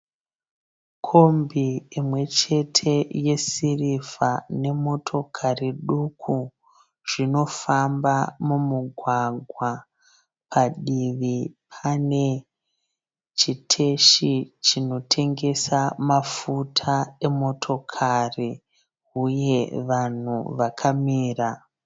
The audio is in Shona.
Kombi imwe chete yesirivha nemotokari duku zvinofamba mumugwagwa. Padivi pane chiteshi chinotengesa mafuta emotokari uye vanhu vakamira.